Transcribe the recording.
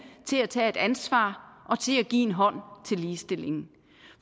til at tage et ansvar og til at give en hånd til ligestillingen